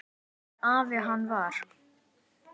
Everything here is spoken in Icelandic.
Hvernig afi hann var.